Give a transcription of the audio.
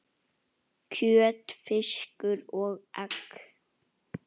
kjöt, fiskur og egg